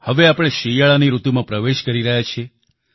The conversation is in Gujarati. હવે આપણે શિયાળાની ઋતુમાં પ્રવેશ કરી રહ્યા છીએ